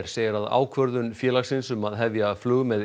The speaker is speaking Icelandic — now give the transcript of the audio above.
segir að ákvörðun félagsins um að hefja flug með